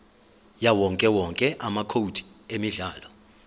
yawowonke amacode emidlalo